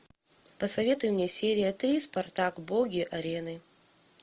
посоветуй мне серия три спартак боги арены